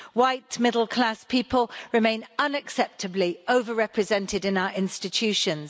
White, middle class people remain unacceptably over represented in our institutions.